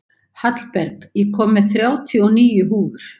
Hallberg, ég kom með þrjátíu og níu húfur!